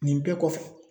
Nin bɛɛ kɔfɛ